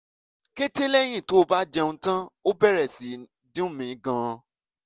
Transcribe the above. kété lẹ́yìn tó bá jẹun tán ó bẹ̀rẹ̀ sí í dùn mi gan-an